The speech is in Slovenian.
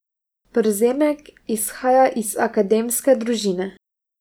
Przemek izhaja iz akademske družine.